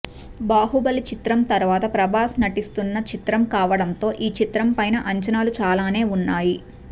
బాహుబలి చిత్రం తరువాత ప్రభాస్ నటిస్తున్నా చిత్రం కావడంతో ఈ చిత్రం పైన అంచనాలు చాలానే ఉన్నాయి